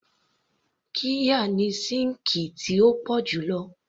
Qirya ni síǹkì tí ó pọ̀ jù lo